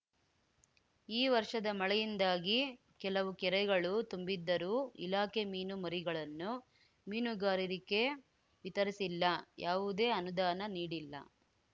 ಈ ವರ್ಷದ ಮಳೆಯಿಂದಾಗಿ ಕೆಲವು ಕೆರೆಗಳು ತುಂಬಿದ್ದರೂ ಇಲಾಖೆ ಮೀನು ಮರಿಗಳನ್ನು ಮೀನುಗಾರರಿಗೆ ವಿತರಿಸಿಲ್ಲ ಯಾವುದೇ ಅನುದಾನ ನೀಡಿಲ್ಲ